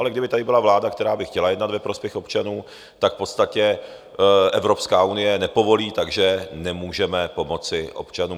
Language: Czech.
Ale kdyby tady byla vláda, která by chtěla jednat ve prospěch občanů, tak v podstatě Evropská unie nepovolí, takže nemůžeme pomoci občanům.